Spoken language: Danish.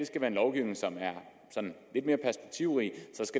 skal være lovgivning som er sådan